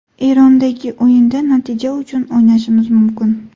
Erondagi o‘yinda natija uchun o‘ynashimiz mumkin.